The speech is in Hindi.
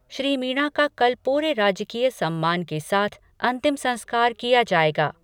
श्री मीना का कल पूरे राजकीय सम्मान के साथ अंतिम संस्कार किया जाएगा।